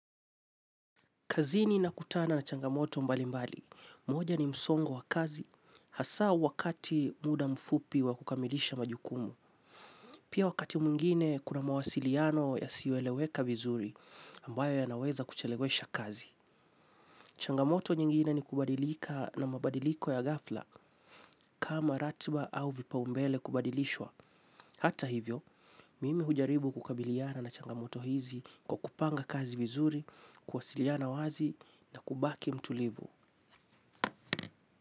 Kazini na kutana na changamoto mbali mbali, moja ni msongo wa kazi, hasaa wakati muda mfupi wa kukamilisha majukumu. Pia wakati mwingine kuna mawasiliano yasiyo eleweka vizuri ambayo ya naweza kuchelewesha kazi. Changamoto nyingine ni kubadilika na mabadiliko ya ghafla kama ratiba au vipaumbele kubadilishwa. Hata hivyo, mimi hujaribu kukabiliana na changamoto hizi kwa kupanga kazi vizuri, kuwasiliana wazi na kubaki mtulivu.